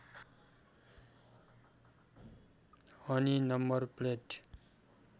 अनि number plate